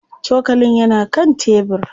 Cokalin yana kan tebir.